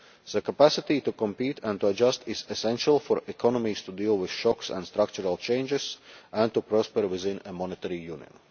The capacity to compete and to adjust is essential for economies to deal with shocks and structural changes and to prosper within a monetary union.